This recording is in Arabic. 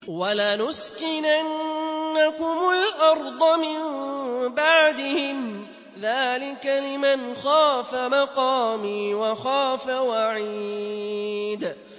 وَلَنُسْكِنَنَّكُمُ الْأَرْضَ مِن بَعْدِهِمْ ۚ ذَٰلِكَ لِمَنْ خَافَ مَقَامِي وَخَافَ وَعِيدِ